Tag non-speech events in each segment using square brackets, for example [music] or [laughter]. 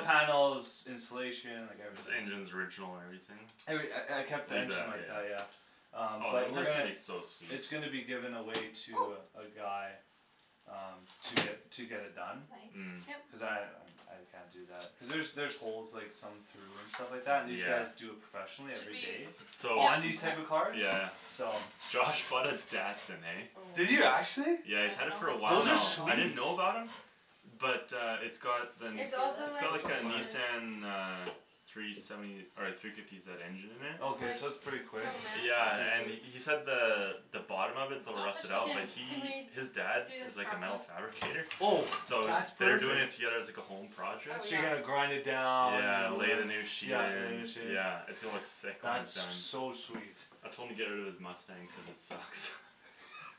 panels, insulation, like The everything engines original and everything? Every- I I kept [inaudible] the engine like that, Yeah yeah Um Oh the but we're inside's gonna gonna be so sweet It's gonna be given away Oh to uh, a guy Um, to get, to get it done That's Mm nice Cuz Yep I, um I can't do that cuz there's there's holes like some through and stuff like that, and these Yeah guys do it professionally Should every we day So On these type Yep of Okay yeah cars, yeah so Josh bought a Datsun, eh Oh, I Did don't you actually? Yeah he's had it know for a while if Those are now, it's done I in the middle didn't sweet know about him But uh it's got the, Can you It's feel also it's like got like super a it? Nissan [inaudible] uh Three seventy, or like three fifty zed engine in This there is Okay like, so that's pretty it's so quick, Yeah and he massive [inaudible] said the the bottom of it's a little Don't touch rusted the out, but Can, tin can we he, do his dad this is like a metal properly fabricator Oh So that's they're doing it perfect together as like a home Oh project So yeah you're gonna grind it down, you Yeah, know lay whatever, the new sheet yeah lay a in, new sheet yeah it's gonna look sick when he's That's done so sweet I told him to get out of his Mustang cuz it sucks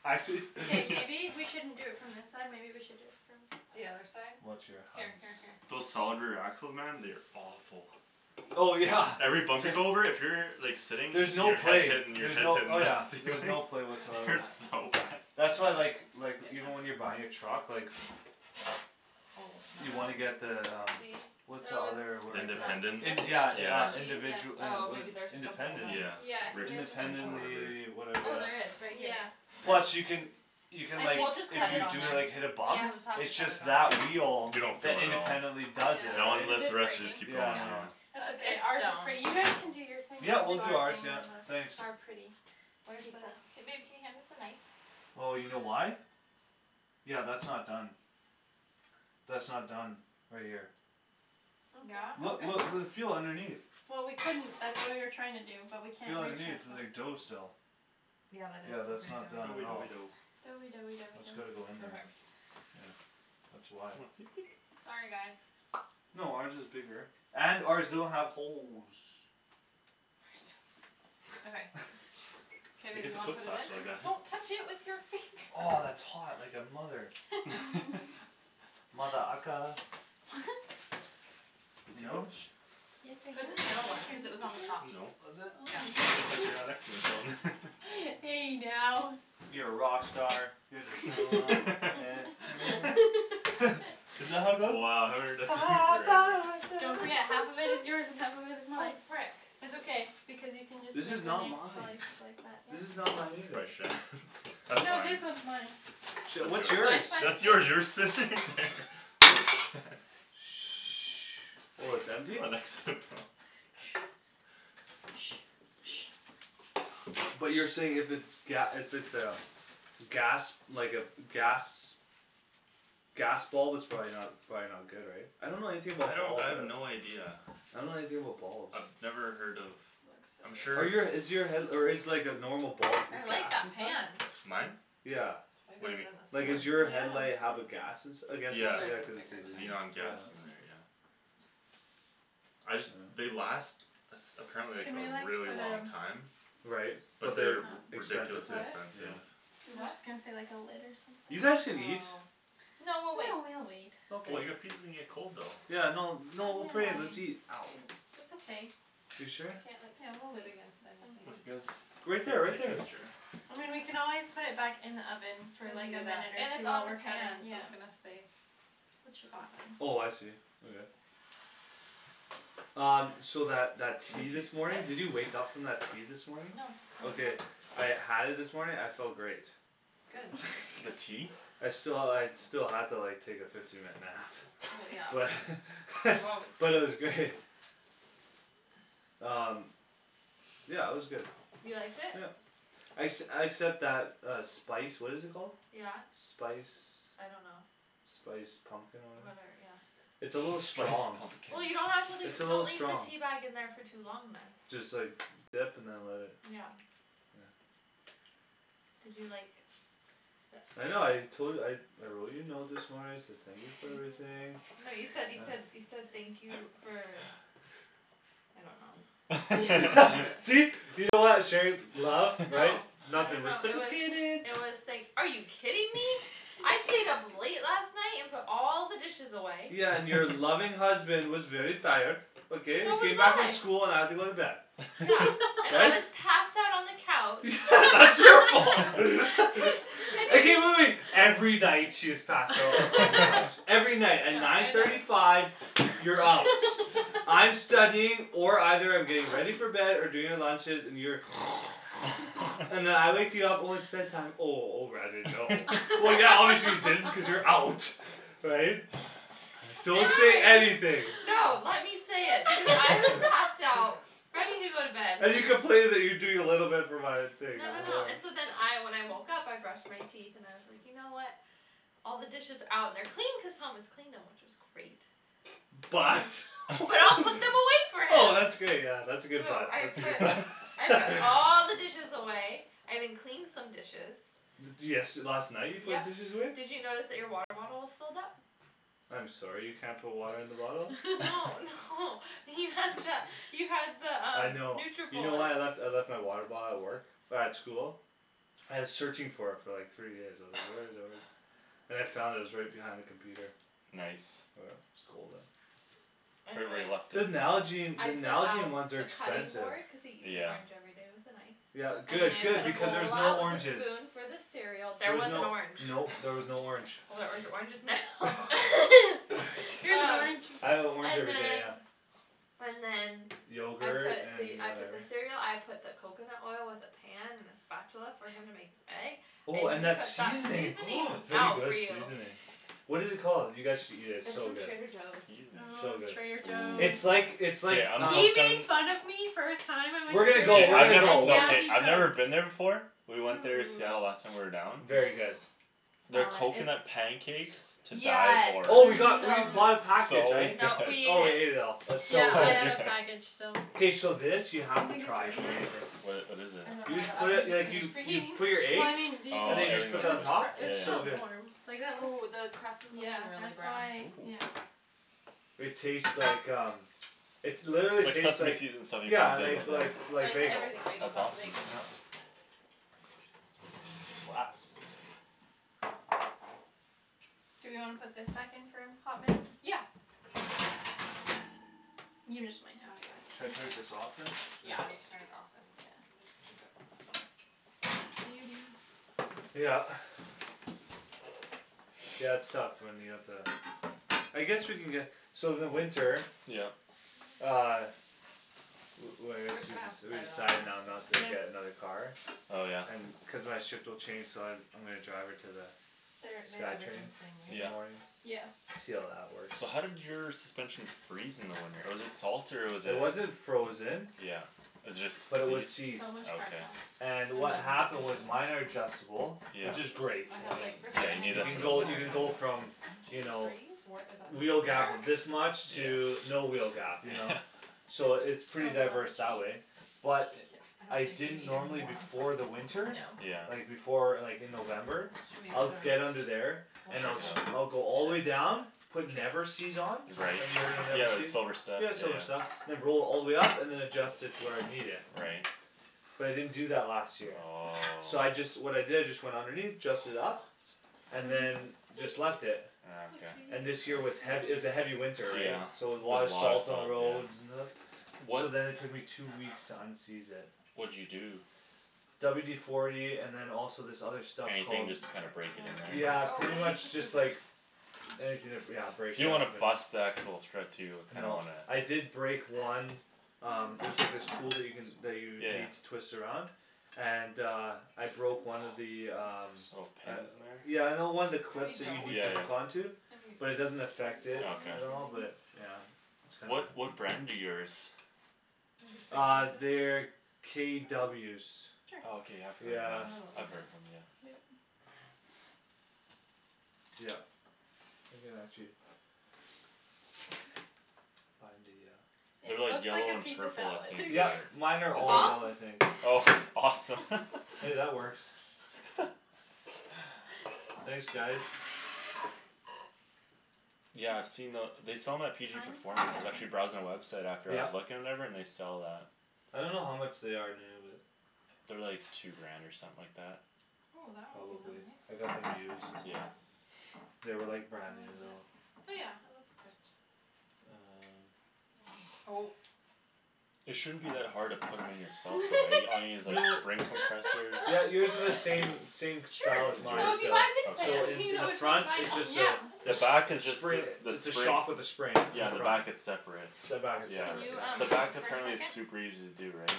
Actually? K Yeah maybe we shouldn't do it from this side maybe we should do it The from other side? Watch your Here hands here here Those solid rear axles man, they are awful Oh yeah, Every bump t- you go over, if you're like sitting, then There's no your head's play, hitting, your there's head's no, hitting oh the yeah there's ceiling no play It whatsoever on hurts that so bad That's why I like like, even when you're buying a truck like Oh no You wanna Oh get the um See? What's the Oh other it's The word It's it's no like independent? it's, in- not that's yeah in- Is the uh Yeah that yeah cheese? cheese individu- eh, Oh what is maybe it, there's just a hole independent, then Yeah Yeah I Rift think theirs suspension was or independently, just a yeah whatever hole. Oh whatever there is, right here Yeah, that's Plus you can You can like, I We'll just if cut think it you on do it there cuz like hit a it's We'll bump just have to It's cut it just on that wheel You there don't that feel it at all independently does it, That right, one Cuz lifts, it's the rest breaking just keep going yeah no yeah Yeah It's It's okay, it's ours is stone pretty, you guys can do your thing Yeah now we'll we'll do do our ours [inaudible] yeah, our pretty thanks Where the, pizza k babe can you hand us the knife? Oh you know why? Yeah that's not done That's not done, right here Yeah? Look Okay Okay look l- feel underneath Well we couldn't, that's what we were trying to do, but we can't Feel underneath, there's like dough [inaudible] still Yeah that is Yeah that's still not done pretty Doughy at all doughy doughy dough Doughy doughy doughy That's gotta go dough in there, Okay yeah That's why Sorry guys No ours is bigger, and ours doesn't have holes Okay [laughs] K I babe guess you it wanna cooks put it in? faster like that Don't touch it with your finger Aw, it's hot like a mother- Mm [laughs] [laughs] Mother ucka [laughs] Good You to go? know? Yes Put it in the middle one, cuz it was on the top I No [inaudible] Was Yeah it? Just like you're not [inaudible] [inaudible] Hey now You're a rock star, get the show on, get [laughs] paid [laughs] [laughs] [laughs] Isn't that how it goes? Wow haven't heard that song in forever Don't forget, half of it is yours and half of [noise] it is Oh mine frick It's okay, because you can just make This the is next not slice mine This is not mine either like that, yeah That's No fine this one's mine Shit, That's what's yours, yours? Mine's by the that's sink yours you were sitting there [noise] Oh it's You empty? were next to it Paul But you're saying if it's ga- if it's a gas, like a, gas Gas bulb it's probably not, it's probably not good right? I don't know anything I about don't I bulbs, I have don't no idea I don't know anything about bulbs I've never heard of I'm Are sure you a is it's your head- or is like a normal bulb I like gas that inside? pan Mine? Yeah Way What do better you than Like mean, what? is your Yeah the [inaudible] headlight it's have a gas nice ins- , I guess it's Yeah, Probably cuz yeah it's cuz it thicker says xenon like, too yeah gas in there yeah I just, they last Apparently like Can we a like, really put long um time Right, Put but But this they're they're expensive s- ridiculously on What? expensive yeah I was Do what? just gonna say like a lid or something You guys can eat Oh No No we'll we'll wait wait Oh well Okay your pizza's gonna get cold though Yeah no no Mm we'll put it in, I let's eat mean [inaudible] That's okay You I sure? can't like Yeah sit we'll against wait, anything Come it's you fine guys, Right there here right take there this chair I mean we can always put it back in the oven, for To like heat a it up, minute or and it's on the two pan, [inaudible] so yeah it's gonna stay It should hot be fine. Oh I see, okay Um, so that that I tea guess he's this [noise] morning, did you Sit? wake up from that tea this morning? No Okay [inaudible] I had it this morning, I felt great good [laughs] the that's tea? I sti- I still had to like take a fifteen minute nap well but [laughs] yeah [laughs] you always but sleep it was great [noise] um yeah it was good you liked it? yeah exc- except that uh spice what is it called? yeah spice I don't know spice pumpkin or whatever yeah it's a little spice strong pumpkin well you don't have to leave it's a don't little leave the strong teabag in there for too long then just like dip and then let it yeah yeah did you like th- I know I tol- I I wrote you a note this morning I said thank you [noise] for everything no you [laughs] said you said [noise] you said thank you for [laughs] I don't know [laughs] [laughs] see [inaudible] laugh right no [laughs] I don't [inaudible] know it was I was like are you kidding me [laughs] I stayed up late last night and put all the dishes away yeah and your [laughs] loving husband was very tired okay I so was came back from I school and I had to go to bed yeah [laughs] [laughs] and I but was passed out on the couch [laughs] that's your fault [laughs] [laughs] [laughs] okay wait wait wait every night she is passed out in the couch [laughs] every night at yeah nine I know thirty five you're out I'm studying or either I'm getting ready aw for bed or doing the lunches and you're [noise] [noise] [laughs] and then [laughs] I wake you up when it's bed time oh oh r I didn't know [laughs] well yeah obviously you didn't because you're out [laughs] right? [noise] don't say anything [inaudible] no let me say it because I was passed out ready [laughs] to go to bed and you complaining you doing no no no [noise] and [inaudible] so then I when I woke up I brushed my teeth and I was like you know what all the dishes out and they're clean cause Thomas cleaned them which was great but but I'll put [laughs] them away for [laughs] oh him that's great yeah that's a good so but I that's a good put but I put [laughs] all [laughs] the dishes away I even cleaned some dishes de- desh last night you put yup dishes away? did you notice that your water bottle was filled up? I'm sorry you can't put water in the bottle no [laughs] [laughs] [laughs] no you had the you had the I um know you know what I Nutribullet left I left my water bottle at work at school I was searching for it for like three days I was like where is it where is it [noise] and I found it it was right behind the computer nice [inaudible] right where anyway you left it the Nalgene I the put Nalgene out ones are the cutting expensive board because he eats an yeah orange everyday with a knife yeah and then good I good put a because there's bowl no out with a oranges spoon for the cereal there there was was an no orange no there was no orange well [laughs] there's oranges now [laughs] [laughs] [laughs] here's an oh orange I have an orange and everyday yeah then and then I yogurt put the and I put the whatever cereal I put the coconut oil with the pan and the spatula for him to make his egg I oh and even that put that seasoning oh seasonings very out good for you seasoning what it called you guys should eat it it's it's so from good Trader Joe's seasoning so ooo good Trader it's like Joe's ooh it's okay like I'm um hooked on we're gonna go Okay we're I gonna go never we're no I've never been there before we went there in Seattle last hum time we were down very good oh their smell it it's coconut pancakes to die yeah for oh we it's got we [noise] bought a package so [inaudible] [laughs] good no we oh ate we ate it it all it's yeah so so I have good good a [laughs] package so k so this you do you have to think it's try its ready amazing now? wha- what is I it don't know you just the put other it like you you put your [inaudible] well eggs I mean do you and then think it you oh was just put that super on [inaudible] top it was it's yeah so still good warm yeah like that oh looks the crust is like yeah really that's brown why ooh yeah it taste like um it literally like tastes seaseme like seeds in [inaudible] bagel yeah yeah like like like like the bagel everything bagel that's without the awesome bagel yeah glass do we wanna put think back in for a hot minute? yeah should I turn [inaudible] [noise] just this off than yeah I'm just turn it off and just keep it yeah warm in there what are you doing? [noise] yeah yeah okay yeah it's tough when you have to I guess we can get so in the winter yeah uh [noise] li- li- like we're just excuse gonna me have to we we cut all in decided now there not to get when another car oh yeah cuz my shift will change so I I'm gonna drive her to the their they'd sky everything train the same way in the yeah morning right yeah see how that works so how did your suspension freeze in the winter was it salt or was it it wasn't frozen yeah was it but it was just seized seized okay and I know what [inaudible] happened was seriously minor adjustable yeah which is great I I had like mean firstly yeah I you had need you no it can for idea the go what Paul winter you was can talking go [inaudible] about from you suspension know freeze wheel gap of [inaudible] this much to yeah no wheel gap you know yeah [laughs] so it's pretty so a diverse lot that of way cheese but yeah I I don't think they didn't needed normally more on before top the winter No yeah like before like in November I'd get under [inaudible] there and check I'll it sc- out I'll go all the way down [inaudible] put never-seez on right have you ever heard of yeah the never-seez? silver stuff yeah yeah silver yeah stuff [inaudible] all the way up and than adjust it to where I need it right but I didn't do that last year oh so I just what I did is just went underneath adjust it up what and is what it than is just it? left it just ah a okay and little this year cheese, was hea- it oh was a heavy yeah winter yeah so there was a lot of a lot of salt on the salt roads yeah and stuff so wha- then it took me two weeks to unseize it what'd you do? WD forty and than also this other stuff anything called just to kinda break it in [inaudible] there yeah oh pretty we'll use the much just like scissors anything to br- yeah break you it don't up wanna and bust the actual thread too you kinda no wanna I did break one um there's like this tool you can that you yeah need yeah to twist around and uh I balls broke my one of the um little gosh pins in uh there yeah no one of the is there clips any that you dough need with yeah to that hook yeah on [laughs] to any but it doesn't affect it okay at all but yeah it's kinda what what brand do yours maybe three uh they're pieces for them KWs okay I've cuz heard of yeah I them know they'll I've eat it heard of them yeah yup you can actually find the uh it they're like looks like yellow a and pizza purple I salad [laughs] think yup or mine are is all that off [inaudible] I think oh awesome [laughs] hey that works [laughs] thanks guys yeah I've seen the they sell them at PG kind performance I was actually [inaudible] browsing the website after I was yup looking and whatever and they sell that I don't know how much they are new but they're like two grant or something like that ooh that one came out probably nice I got them used yeah they were like brand how new is it? though oh yeah it looks good um oh it shouldn't be that hard to put em in yourself though right all you need is no like spring compressors yeah you would do the same [laughs] [laughs] same [inaudible] as sure as so mine yours if you buy this still so pan okay in you in know the which one to front buy it now. just uh yeah the jus- back is jus- just spring a the its a spring shock with a spring in yeah, the front back it's separate the back is yeah can separate you um the yeah back move for a apparently is second super easy to do right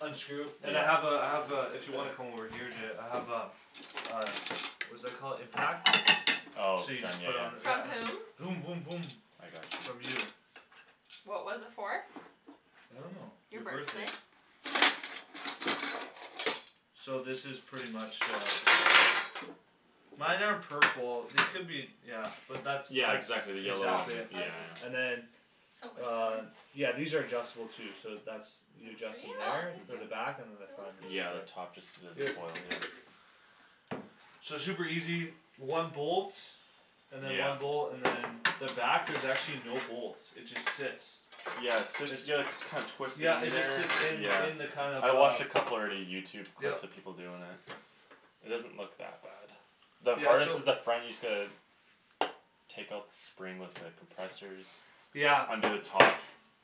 unscrew and I yeah have uh I have uh if you wanna [noise] come over here and do it I have a uh what's that called impact oh so you from just yeah put on the yeah from yeah um whom voom voom voom I got from you you what was it for? I don't know your your birthday birthday so this is pretty much uh mine are purple they could be yeah but that's yeah that's exactly the yellow oh one exactly it yeah ours is yeah and then on yeah these are adjustable too so that's you adjust them oh there for the thank uh-huh back and you than the front is yeah the just there top just does yep a coil yeah so it's super easy one bolt and than yeah one bolt and than the back there's actually no bolts it just sits yeah it sit it's yea- you kind twist it yeah in it just there sits in yeah in the kind of I watched a uh couple already Youtube yup clips of people doin' it it doesn't look that bad the yeah hardest so is the front you just gotta take out the spring with the compressors yeah under the top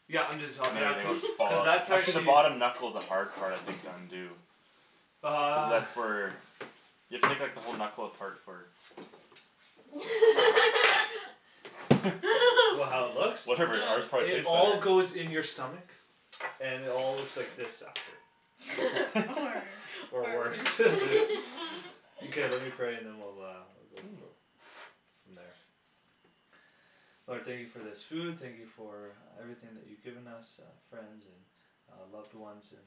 yeah under the top and than yeah everything cuz will just cuz follow that's actually the actually bottom knuckle's the hard part I think to undo cuz uh that's where you have to take like the whole knuckle apart for [laughs] [laughs] what how [laughs] it [laughs] looks? whatever ours no probably it tastes all better goes in your stomach and it all looks like this after or worse [laughs] [laughs] okay let me pray and then we'll go ooh for from there Lord thank you for this food thank you for everything that you given us uh friends and uh loved ones and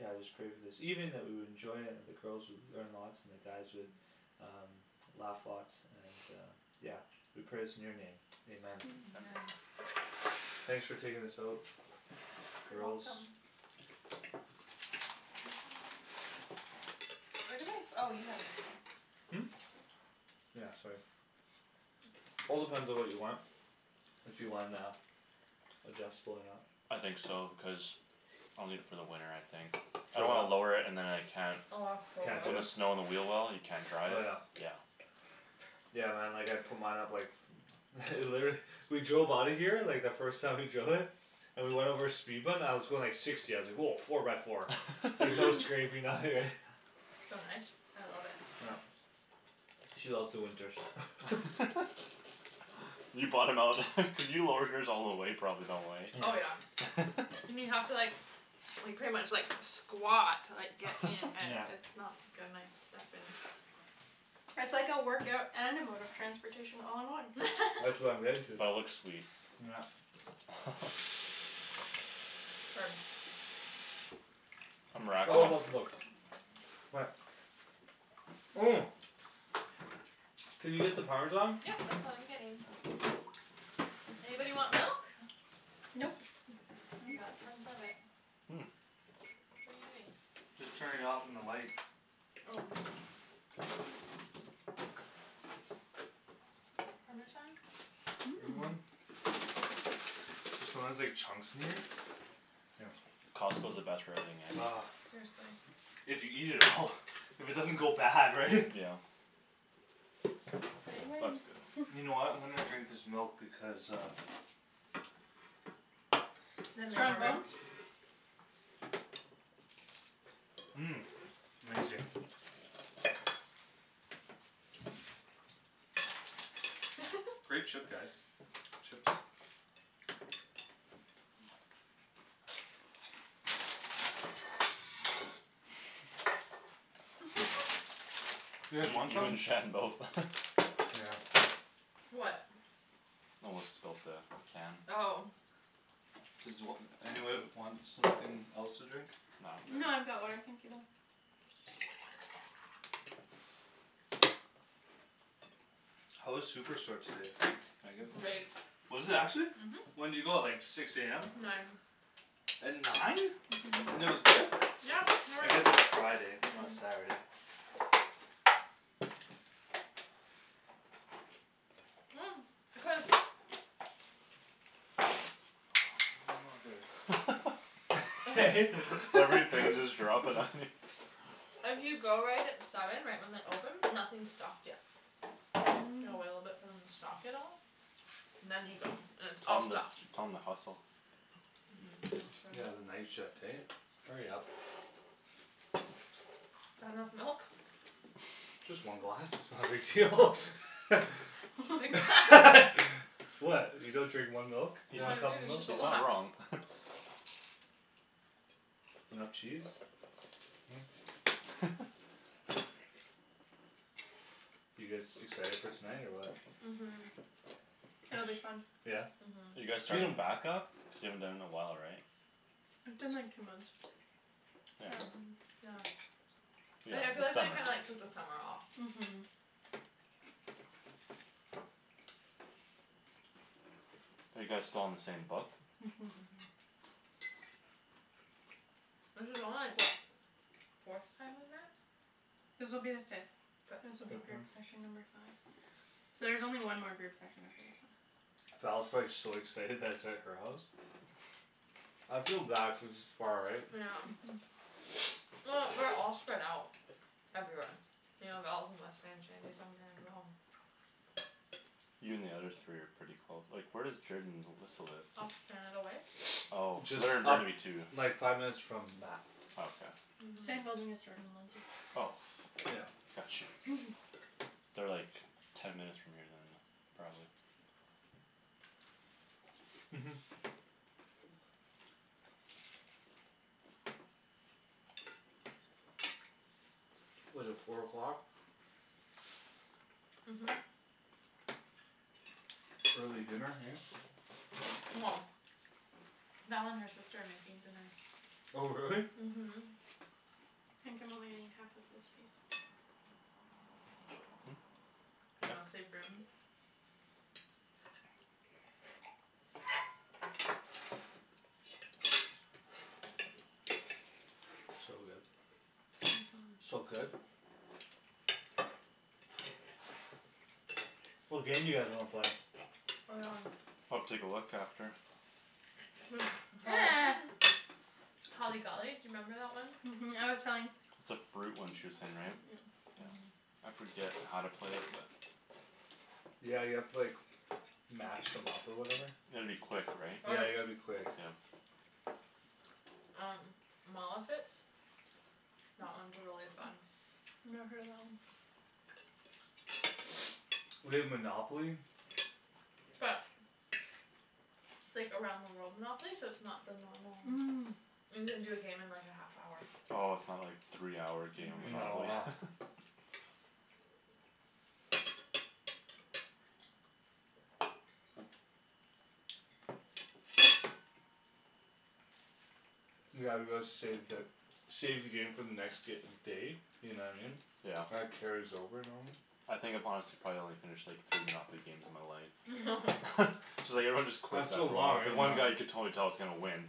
yeah I just pray for this evening that we will enjoy and the girls would learn lots and the guys would [noise] um laugh lots and uh yeah we pray this in your name Amen amen thanks for taking this out girls where did my oh you have my phone hm yeah sorry all depends on what you want if you wan- uh adjustable or not I think so because I'll need it for the winter I think I throw don't wanna what lower it and than I can't can't do put the it [inaudible] snow on the wheel well and you can't drive oh yeah yeah yeah man like I'd put mine up like [noise] [laughs] literally [laughs] we drove outta here like the first time we drove it and we went over a speed bump and I was going like sixty I was like woah four by four like [laughs] no [laughs] scraping nothing right [laughs] so nice I love it yup she loves the winters [laughs] [laughs] you bought him out [laughs] cuz you lowered yours all the way probably eh oh yeah [noise] [laughs] and you have to like like pretty much like squat to like get in [laughs] and yeah it's not gonna I step in it's like a workout and a mode of transportation all in one that's what I'm getting to [laughs] but it looks sweet yeah [laughs] [inaudible] it's all about oh the [inaudible] looks what oh can you get the parmesan yep that's what I'm getting oh anybody want milk? nope we got tons of it hm what're you doing? just turning it off on the light oh parmesan mmm anyone? there's sometimes like chunks in there here Costco's the best for everything eh ah seriously if you eat it all if it doesn't go bad right [laughs] yeah say oh that's good when [noise] you know what I'm gonna drink this milk because uh then we have strong more room bones mmm amazing [laughs] great chip guys chips [laughs] [noise] [laughs] you guys you want you some? and Shan both [laughs] yeah what [inaudible] spilt the can oh does wh- anybody want something else to drink? no No I'm I've good got water thank you though how was Superstore today Meagan? great was it actually mhm when'd you go like six am nine at nine uh-huh and it was good? yeah I guess [inaudible] it's Friday it's not uh- uh Saturday [noise] cuz oh mother [laughs] [laughs] I [noise] hate that [laughs] everything just dropping on [laughs] you if you go right at seven right when they open nothing's stocked yet you gotta wait a little bit hm for them to stock it all and then you go and it's tell all them stocked tell them to hustle uh-huh I should yeah the night shift hey hurry up that enough milk just one glass [laughs] its not a big deal [laughs] [noise] [inaudible] [laughs] [laughs] what you don't drink one milk? he's No one not I do cup of its milk just a he's not lot wrong [laughs] enough cheese huh [laughs] [laughs] you guys excited for tonight or what mhm It'll be fun [noise] yeah are uh-huh you guys its been a starting back-up cuz you haven't done it in a while right It's been like two months yeah hm um yeah yeah I yeah yeah feel the like I summer kinda like took the summer off mhm are you guys still on the same book uh-huh uh-huh this is only like what forth time we've met This will be the fifth fifth this will be uh-huh group [inaudible] session number five so there's only one more group session after this one Val's probably so excited that its at her house [laughs] I feel bad cuz its far right yeah um uh-huh [noise] well we're all spread out everywhere you know Val's in West Van Shandy's on Grant we're all you and the other three are pretty close like where does Jorden and Alyssa live? off Canada Way oh [noise] so just they're in up Burnaby too like five minutes from Mat oh okay same uh-huh building as Jordan and Lindsay oh yeah got you [laughs] they're like ten minutes from here than probably uh-huh what's it four o'clock uh-huh uh-huh early dinner hey well Val and her sister are making dinner oh really? uh-huh I think I'm only gonna eat half of this piece hm you know yeah save room so good uh-huh so good what game do you guys wanna play? [inaudible] I'll take a look after [noise] holly [noise] [laughs] holly golly do you remember that one? uh-huh I was telling it's a fruit one she way saying right uh-huh yeah I forget how to play it but yeah you have to like match them up or whatever you gotta be quick right yeah or you gotta be quick yeah um mall outfits that one's really fun never heard of that one [noise] [noise] we have Monopoly but it's like around the world Monopoly so its not the normal um you can do a game in like a half hour oh its not like three hour game of no uh-huh Monopoly [noise] yeah, let's save the save the game for the next day you know what I mean yeah that carries over normally I think if I'm honest I've probably only finished like three Monopoly games in my life [laughs] [laughs] [laughs] so like everyone just quits it's so after a long while because right one guy you yeah could uh-huh totally tell is gonna win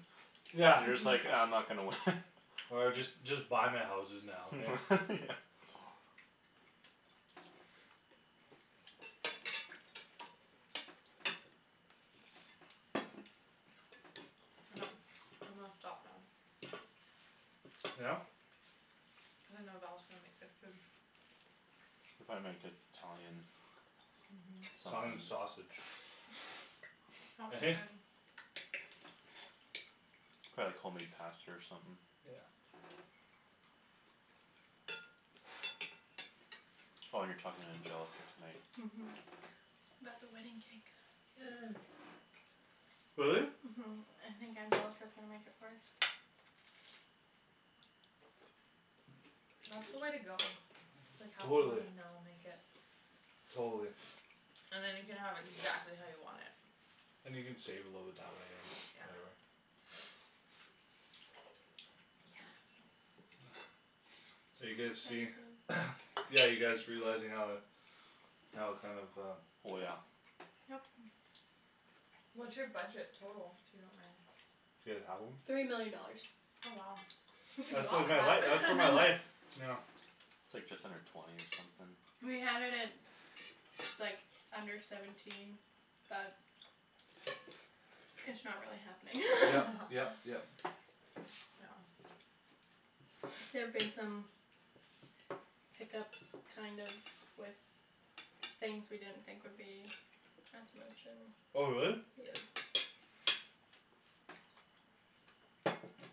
yeah you're just like ah I'm uh-huh not gonna win [laughs] or just just buy my houses now okay [laughs] yeah [noise] [noise] I'm gonna stop now yeah cuz I know Val's gonna make good food they'll probably make it- Italian uh-huh Italian something sausage he - hey [inaudible] probably like home made pasta or something yeah oh you're talking to Angelica tonight uh-huh about the wedding cake uh really? uh-huh I think Angelica's gonna make it for us that's the way to go it's like have someone totally you know make it totally and then you can have [noise] exactly how you want it and you can save a little bit that way or [noise] whatever yeah [noise] so are you it's guys see expensive [noise] yeah you guys realizing how how kinda of um oh yeah yup what's your budget total if you don't mind do you guys have one? three million dollars oh wow you can do a that's lot like with my life uh that's uh my life that [laughs] [laughs] yeah its like just under twenty or something we had it at like under seventeen but it's not really happening yep yep yep [laughs] [laughs] yeah there've [noise] [noise] been some hiccups kind of with things we didn't think would be as much and oh really? yeah [noise]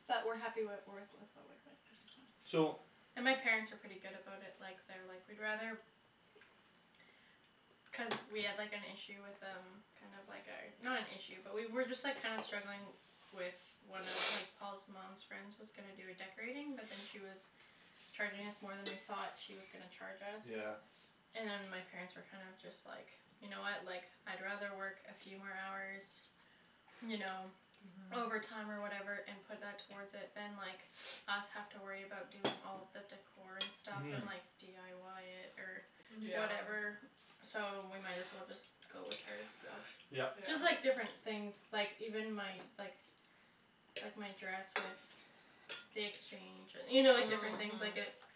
but we're happy with with what we're [inaudible] so and my parents are pretty good about it like they're like we'd rather cuz we had like an issue with um kinda like our not an issue but we were just like kinda struggling with one of like [noise] [noise] Paul's mom's friend's was gonna do a decorating but [noise] then she [noise] was charging us more than we thought she was gonna charge yeah us and my parents were kind of just like you know what like I'd rather work a few more hours you know uh-huh overtime or whatever and put that towards it than like [noise] [noise] us have to worry about doing all the decor and stuff uh-huh and like dyi it or yeah whatever so we might as well just go with her so yup yeah just like different things like even my like like my dress with the exchange and you know different things like it uh-huh